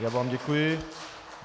Já vám děkuji.